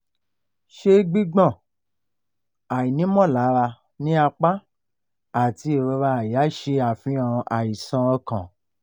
ṣe gbigbọn / aini molara ni apa ati irora àyà ṣe afihan aisan okan